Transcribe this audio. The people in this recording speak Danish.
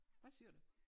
Hvad syer du?